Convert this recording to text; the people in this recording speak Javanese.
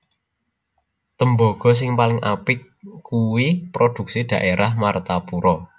Tembogo sing paling apik kui produksi daerah Martapura